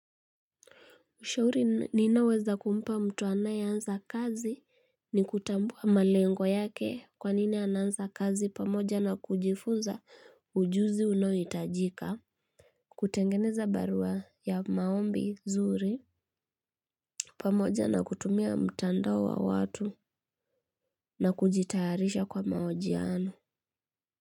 Ushauri ninaoweza kumpa mtu anayeansa kazi ni kutambua malengo yake kwa nini anansa kazi pamoja na kujifunza ujuzi unaoitajika. Kutengfeneza barua ya maombi nzuri pamoja na kutumia mtandao wa watu na kujitayarisha kwa maojiano.